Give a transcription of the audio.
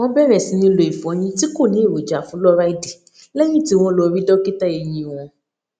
wọn bẹrẹ sì ní lo ìfọyín tí kò ní èròjà fúlóráìdì lẹyìn tí wọn lọ rí dọkítà eyín wọn